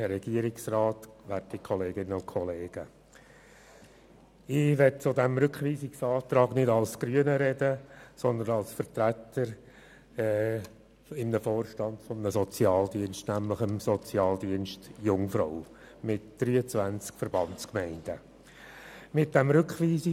Zu diesem Rückweisungsantrag möchte ich nicht als Grüner sprechen, sondern als Vorstandsvertreter des Sozialdienstes Jungfrau, welchem 23 Verbandsgemeinden angeschlossen sind.